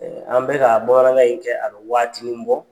an bɛ ka bamanankan in kɛ a bɛ waatini bɔ